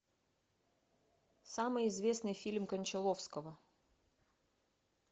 самый известный фильм кончаловского